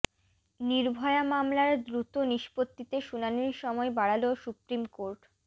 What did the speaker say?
নির্ভয়া মামলার দ্রুত নিষ্পত্তিতে শুনানির সময় বাড়াল সুপ্রিম কোর্ট